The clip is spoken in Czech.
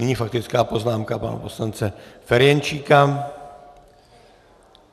Nyní faktická poznámka pana poslance Ferjenčíka.